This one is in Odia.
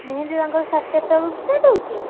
ମେହେନ୍ଦୀ ତାଙ୍କର ସାଢ ଚାରିଟା ବେଳକୁ start ହଉଛି?